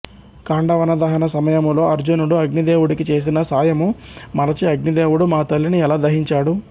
ఖాండవనదహన సమయములో అర్జునుడు అగ్నిదేవుడికి చేసిన సాయము మరచి అగ్నిదేవుడు మా తల్లిని ఎలా దహించాడు